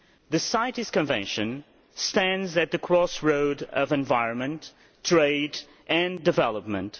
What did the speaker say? The CITES Convention stands at the crossroads of environment, trade and development.